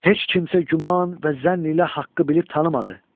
Heç kimsə güman və zənn ilə haqqı bilib tanımadı.